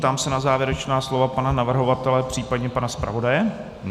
Ptám se na závěrečná slova pana navrhovatele případně pana zpravodaje.